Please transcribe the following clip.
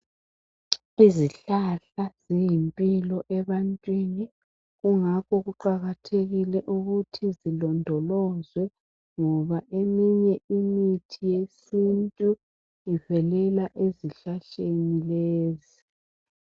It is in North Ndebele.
Izihlahla ziyimpilo ebantwini kungakho kuqakathekile ukuthi zilondolozwe ngoba eminye imithi yesintu ivelela ezihlahleni lezi.